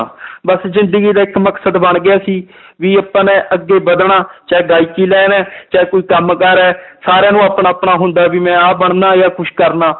ਬਸ ਜ਼ਿੰਦਗੀ ਦਾ ਇੱਕ ਮਕਸਦ ਬਣ ਗਿਆ ਸੀ ਵੀ ਆਪਾਂ ਨੇ ਅੱਗੇ ਵੱਧਣਾ ਚਾਹੇ ਗਾਇਕੀ line ਹੈ ਚਾਹੇ ਕੋਈ ਕੰਮ ਕਾਰ ਹੈ ਸਾਰਿਆਂ ਨੂੰ ਆਪਣਾ ਆਪਣਾ ਹੁੰਦਾ ਵੀ ਮੈਂ ਆਹ ਬਣਨਾ ਜਾਂ ਕੁਛ ਕਰਨਾ